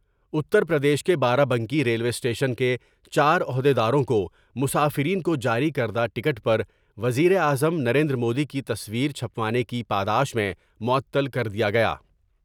اتر پردیش کے بارہ Banki railway station کے چار عہد یداروں کو مسافرین کو جاری کردہ ٹکٹ پر وزیراعظم نریندرمودی کی تصویر چھپوانے کی پاداش میں معطل کر دیا گیا ۔